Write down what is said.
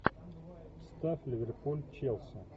ставь ливерпуль челси